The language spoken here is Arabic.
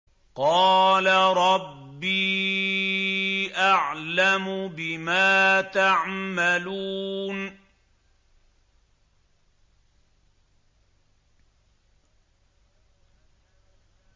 قَالَ رَبِّي أَعْلَمُ بِمَا تَعْمَلُونَ